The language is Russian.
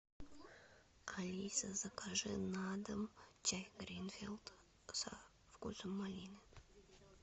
алиса закажи на дом чай гринфилд со вкусом малины